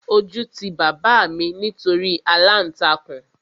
Ojú ti bàbá mi nítorí aláǹtakùn